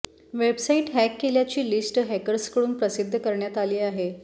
website hack केल्याची list हॅकर्सकडून प्रसिद्ध करण्यात आली आहे